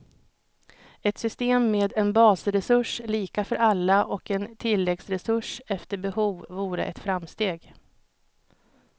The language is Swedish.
Ett system med en basresurs, lika för alla, och en tilläggsresurs, efter behov, vore ett framsteg.